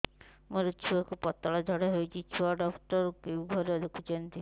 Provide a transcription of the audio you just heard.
ମୋର ଛୁଆକୁ ପତଳା ଝାଡ଼ା ହେଉଛି ଛୁଆ ଡକ୍ଟର କେଉଁ ଘରେ ଦେଖୁଛନ୍ତି